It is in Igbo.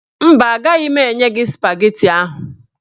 Mba, agaghị m enye gị spageti ahụ